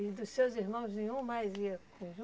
E dos seus irmãos nenhum mais ia com